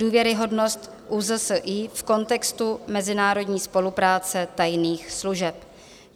Důvěryhodnost ÚZSI v kontextu mezinárodní spolupráce tajných služeb.